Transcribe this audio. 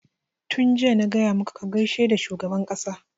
Tun jiya na gaya maka ka gaishe da shugaban ƙasa!